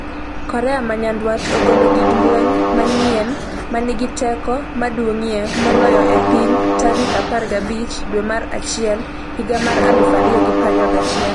Korea ma Nyanduat ogolo gig lweny manyien 'ma nigi teko maduong'ie moloyo e piny' tarik 15 dwe mar achiel higa mar 2021